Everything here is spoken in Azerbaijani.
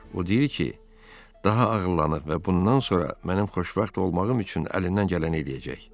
O deyir ki, daha ağıllanıb və bundan sonra mənim xoşbəxt olmağım üçün əlindən gələni eləyəcək.